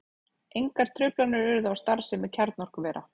Engar truflanir urðu á starfsemi kjarnorkuvera